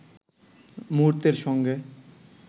মুহূর্তের সঙ্গে